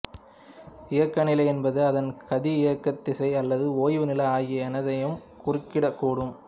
இயக்க நிலை என்பது அதன் கதி இயக்கத்திசை அல்லது ஓய்வு நிலை ஆகிய எதனையும் குறிக்கக்கூடும்